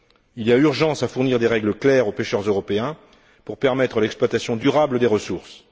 Il y a urgence à fournir des règles claires aux pêcheurs européens pour permettre l'exploitation durable des ressources.